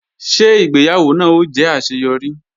Ṣé ìgbéyàwó náà ó jẹ́ àṣeyọrí